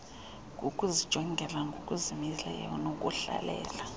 kukuzijongela ngokuzimeleyo nokuhlalela